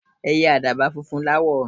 Ẹiyẹ àdàbà funfun láwọ̀.